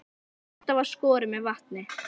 Þórhallur: Og þetta er skorið með vatni?